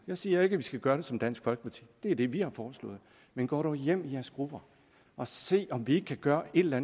jeg siger ikke at vi skal gøre det som dansk folkeparti det er det vi har foreslået men gå dog hjem i jeres grupper og se om vi ikke kan gøre et eller